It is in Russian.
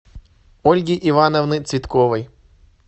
ольги ивановны цветковой